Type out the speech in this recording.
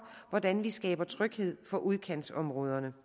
hvordan vi skaber tryghed for udkantsområderne